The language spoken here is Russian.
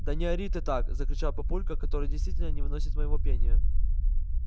да не ори ты так закричал папулька который действительно не выносит моего пения